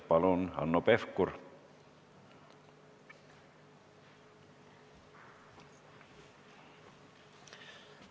Palun, Hanno Pevkur!